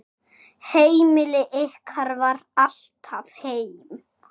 Heimili ykkar var alltaf heim.